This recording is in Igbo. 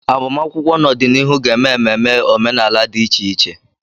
Agbamakwụkwọ n'ọdịnihu ga-eme ememe omenala dị iche iche.